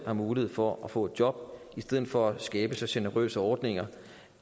har mulighed for at få et job i stedet for at skabe så generøse ordninger